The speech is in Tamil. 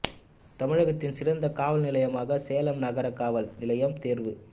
தமிழகத்தின் சிறந்த காவல் நிலையமாக சேலம் நகர காவல் நிலையம் தோ்வு